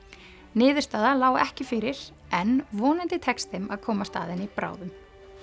niðurstaða lá ekki fyrir en vonandi tekst þeim að komast að henni bráðum